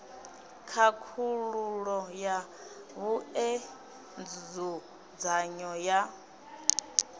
khakhululo ya vhue nzudzanyo ya